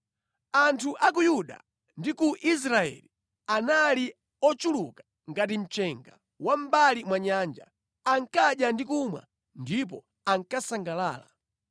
Anthu a ku Yuda ndi ku Israeli anali ochuluka ngati mchenga wa mʼmbali mwa nyanja. Ankadya ndi kumwa ndipo ankasangalala.